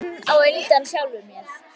Ég er enn á undan sjálfum mér.